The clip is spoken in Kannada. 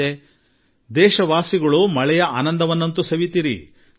ಜನತೆ ನಿಶ್ಚಿತವಾಗಿ ಮಳೆಯ ಆನಂದ ಪಡೆಯಲಿ